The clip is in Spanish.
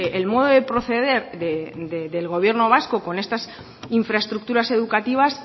el modo de proceder del gobierno vasco con estas infraestructuras educativas